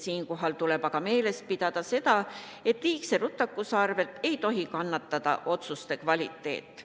Siinkohal tuleb aga meeles pidada seda, et liigse rutakuse arvel ei tohi kannatada otsuste kvaliteet.